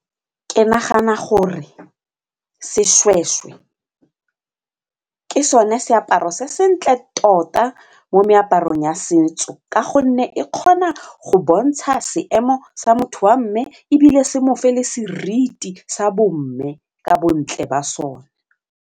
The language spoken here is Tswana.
Ke nagana gore seshweshwe ke sone seaparo se sentle tota mo meaparong ya setso ka gonne e kgona go bontsha seemo sa motho wa mme ebile se mofe le seriti sa bomme ka bontle ba sone.